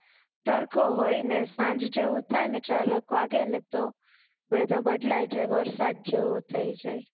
તડકો હોય ને સાંજ જેવું થાય ને ચાર એક વાગે ને તો વેધર બદલાય હાય વરસાદ જેવું થઇ જાય